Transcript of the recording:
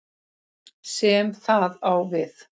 sem það á við.